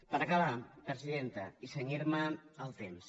per acabar presidenta i cenyir me al temps